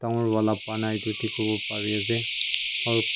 ghor wala banai tu dikhiwo pare ase aro--